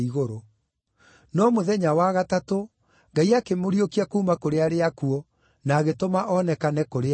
No mũthenya wa gatatũ Ngai akĩmũriũkia kuuma kũrĩ arĩa akuũ na agĩtũma onekane kũrĩ andũ.